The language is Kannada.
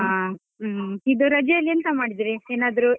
ಆ, ಹ್ಮ್. ಇದು ರಜೆ ಅಲ್ಲಿ ಎಂತ ಮಾಡಿದ್ರಿ ಏನಾದ್ರು.